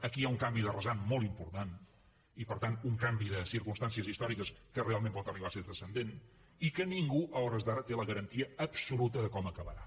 aquí hi ha un canvi de rasant molt important i per tant un canvi de circumstàncies històriques que realment pot arribar a ser transcendent i que ningú a hores d’ara té la garantia absoluta de com acabarà